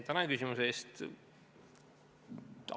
Tänan küsimuse eest!